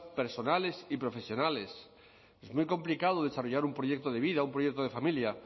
personales y profesionales es muy complicado desarrollar un proyecto de vida un proyecto de familia